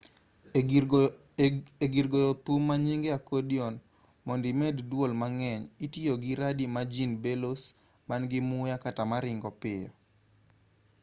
e-gir goyo thum manynge accordion mondo imed duol mang'eny itiyogi radii magin bellows man-gi muya kata maringo piyo